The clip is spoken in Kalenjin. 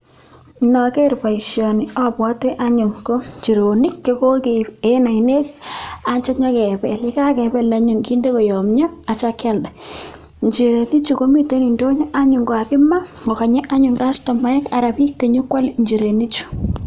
Nogeer boisioni abwate anyuun ko nchirenik chekokeip eng ainet atyo nyekepel, ye kakepel anyun kinde koyomio atyo kialda. Nchirenik chu mitei indonyo anyun kokakimaa kokanye anyuun kastomaek anan biik chenyekwale nchirenichu.